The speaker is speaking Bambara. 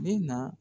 Bɛ na